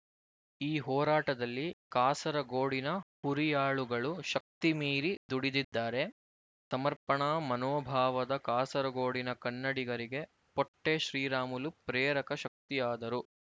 ಈ ಹೋರಾಟದಲ್ಲಿ ಕಾಸರಗೋಡಿನ ಹುರಿಯಾಳುಗಳು ಶಕ್ತಿ ಮೀರಿ ದುಡಿದಿದ್ದಾರೆ ಸಮರ್ಪಣಾ ಮನೋಭಾವದ ಕಾಸರಗೋಡಿನ ಕನ್ನಡಿಗರಿಗೆ ಪೊಟ್ಟಿ ಶ್ರೀರಾಮುಲು ಪ್ರೇರಕ ಶಕ್ತಿಯಾದರು